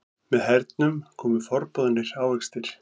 Með hernum komu forboðnir ávextir.